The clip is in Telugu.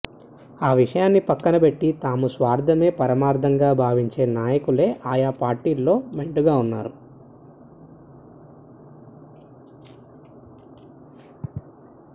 ఆ విషయాన్ని ప్రక్కనపెట్టి తమ స్వార్థమే పరమార్థంగా భావించే నాయకులే ఆయా పార్టీలలో మెండుగా వున్నారు